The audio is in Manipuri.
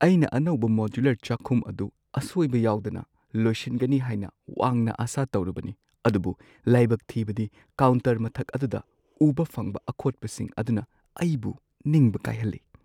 ꯑꯩꯅ ꯑꯅꯧꯕ ꯃꯣꯗ꯭ꯌꯨꯂꯔ ꯆꯥꯈꯨꯝ ꯑꯗꯨ ꯑꯁꯣꯢꯕ ꯌꯥꯎꯗꯅ ꯂꯣꯏꯁꯤꯟꯒꯅꯤ ꯍꯥꯏꯅ ꯋꯥꯡꯅ ꯑꯥꯁꯥ ꯇꯧꯔꯨꯕꯅꯤ, ꯑꯗꯨꯕꯨ ꯂꯥꯢꯕꯛ ꯊꯤꯕꯗꯤ, ꯀꯥꯎꯟꯇꯔ ꯃꯊꯛ ꯑꯗꯨꯗ ꯎꯕ ꯐꯪꯕ ꯑꯈꯣꯠꯄꯁꯤꯡ ꯑꯗꯨꯅ ꯑꯩꯕꯨ ꯅꯤꯡꯕ ꯀꯥꯏꯍꯜꯂꯦ꯫